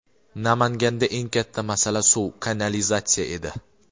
Namanganda eng katta masala suv, kanalizatsiya edi.